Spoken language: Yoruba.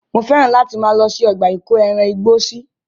Mo fẹ́ràn láti máa lọ sí ọgbà ìkóẹran igbó sí.